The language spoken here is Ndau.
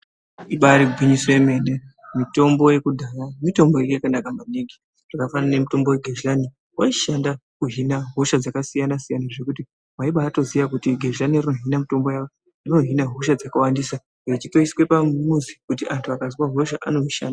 Ibari gwinyiso yemene mitombo yekudhaya mitombo yanga yakanaka maningi zvakafanana nemitombo yegezhani waishanda kuhina hosha dzakasiyana siyana zvekuti waibatoziya kuti gezhani rinohina mitombo yawo rinohina hosha dzakawandisa rechitoiswe pamuzi kuti antu akazwe hosha anorisha.